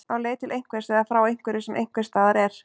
Á leið til einhvers eða frá einhverju sem einhvers staðar er.